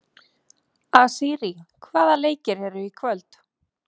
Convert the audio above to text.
Asírí, hvaða leikir eru í kvöld?